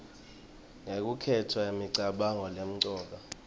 ngekukhetsa imicabango lemcoka